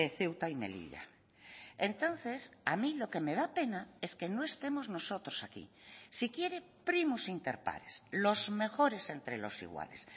ceuta y melilla entonces a mí lo que me da pena es que no estemos nosotros aquí si quiere primos interpares los mejores entre los iguales